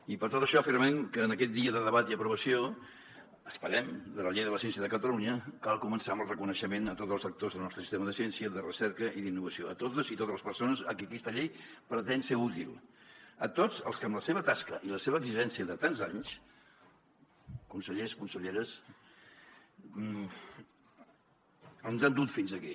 i per tot això afirmem que en aquest dia de debat i aprovació esperem de la llei de la ciència de catalunya cal començar amb el reconeixement a tots els actors del nostre sistema de ciència de recerca i d’innovació a totes les persones a qui aquesta llei pretén ser útil a tots els que amb la seva tasca i la seva exigència de tants anys consellers conselleres ens han dut fins aquí